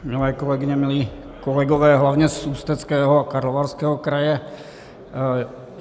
Milé kolegyně, milí kolegové, hlavně z Ústeckého a Karlovarského kraje.